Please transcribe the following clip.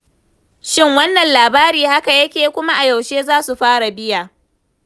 Shin wannan labari haka yake? Kuma a yaushe za su fara biya?